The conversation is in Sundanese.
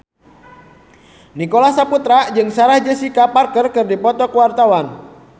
Nicholas Saputra jeung Sarah Jessica Parker keur dipoto ku wartawan